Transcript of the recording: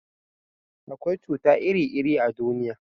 akwai cuta iri iri a duniya